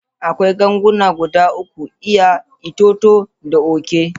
Akwai ganguna guda uku: iya, itoto, da oke.